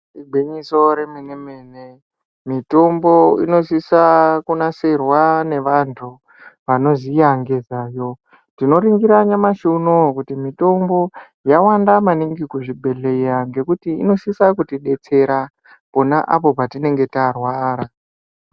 Igwinyiso remene-mene, mitombo inosisa kunasirwa nevantu ,vanoziya nezvazvo. Tinoningira nyamashi unowu kuti mitombo, yawanda maningi kuzvibhedhleya ,ngekuti inosisa kutidetsera, pona apo patinenge tarwara.